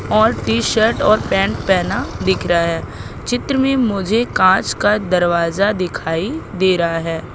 और T shirt और pant पहना दिख रहा है चित्र में मुझे कांच का दरवाजा दिखाई दे रहा है।